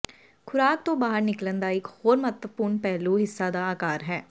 ਖੁਰਾਕ ਤੋਂ ਬਾਹਰ ਨਿਕਲਣ ਦਾ ਇਕ ਹੋਰ ਮਹੱਤਵਪੂਰਨ ਪਹਿਲੂ ਹਿੱਸਾ ਦਾ ਆਕਾਰ ਹੈ